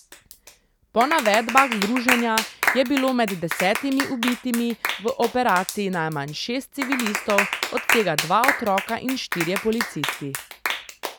Po navedbah združenja je bilo med desetimi ubitimi v operaciji najmanj šest civilistov, od tega dva otroka, in štirje policisti.